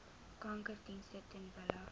kankerdienste ter wille